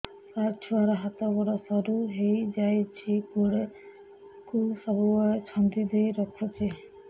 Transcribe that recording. ସାର ଛୁଆର ହାତ ଗୋଡ ସରୁ ହେଇ ଯାଉଛି ଗୋଡ କୁ ସବୁବେଳେ ଛନ୍ଦିଦେଇ ରଖୁଛି